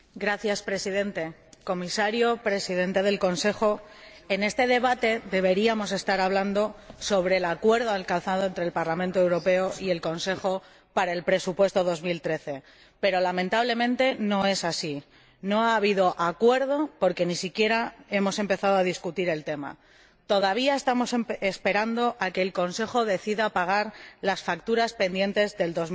Señor Presidente, señor Comisario, señor Presidente en ejercicio del Consejo, en este debate deberíamos estar hablando sobre el acuerdo alcanzado entre el Parlamento Europeo y el Consejo para el presupuesto 2013, pero, lamentablemente, no es así. No ha habido acuerdo porque ni siquiera hemos empezado a debatir el tema. Todavía estamos esperando a que el Consejo decida pagar las facturas pendientes de